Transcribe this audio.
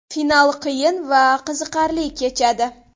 Final qiyin va qiziqarli kechadi.